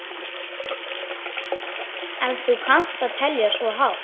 Ef þú kannt að telja svo hátt.